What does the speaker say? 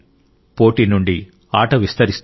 పోటీ నుండి ఆట విస్తరిస్తుంది